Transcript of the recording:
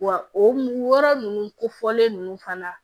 Wa o yɔrɔ ninnu kofɔlen ninnu fana